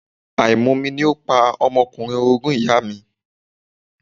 Àìmomi ni ó pa ọmọkùnrin orogún ìyàa mi.